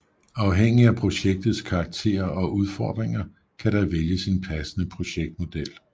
Afhængig af projektets karakter og udfordringer kan der vælges en passende projektmodel